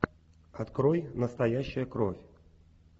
открой настоящая кровь